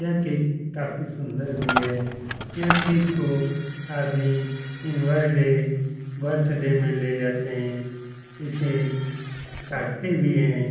यह केक काफी सुंदर भी है। यह केक को आदमी बर्थडे में ले जाते हैं। इसे काटते भी हैं।